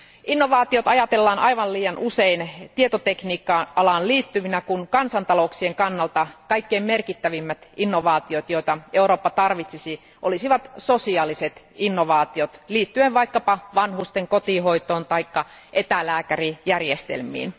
Innovaatiot ajatellaan aivan liian usein tietotekniikka alaan liittyvinä, kun kansantalouksien kannalta kaikkein merkittävimmät innovaatiot, joita Eurooppa tarvitsisi, olisivat sosiaaliset innovaatiot, liittyen vaikkapa vanhusten kotihoitoon tai etälääkärijärjestelmiin.